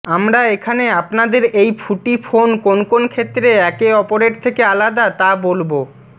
আমরা এখানে আপনাদের এই ফুটি ফোন কোন কোন ক্ষেত্রে একে অপরের থেকে আলাদা তা বলব